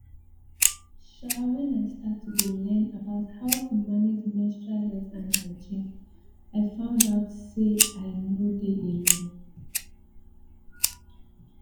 um when i start to dey learn about how to manage menstrual health and hygiene i found out say i nor dey alone